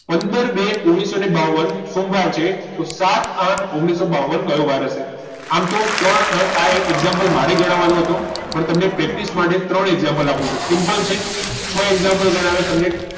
પંદર બે ને ઓગણીસો ને બાવન સોમવાર છે તો સાત આઠ ઓગણીસો ને બાવન કયો વાર હશે આમ તો ત્રણ example મારે ગણવાનો હતો પણ તમને practice માટે ત્રણ example આપું છું simple છે જો example ગણાવ્યા તમને